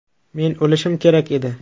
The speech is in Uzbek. Men o‘lishim kerak edi.